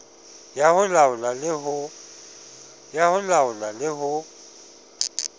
ya ho laola le ho